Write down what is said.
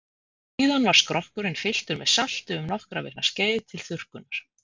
Síðan var skrokkurinn fylltur með salti um nokkra vikna skeið til þurrkunar.